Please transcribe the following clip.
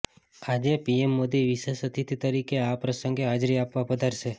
આજે પીએમ મોદી વિશેષ અતિથિ તરીકે આ પ્રસંગે હાજરી આપવા પધારશે